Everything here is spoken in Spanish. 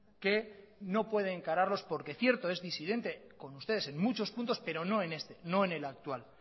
que no puede encararlos porque cierto es disidente con ustedes en muchos puntos pero no en este no en el actual